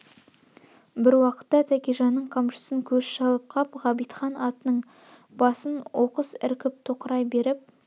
бір уақытта тәкежанның қамшысын көз шалып қап ғабитхан атының басын оқыс іркіп тоқырай беріп